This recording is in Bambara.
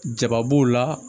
Ja b'o la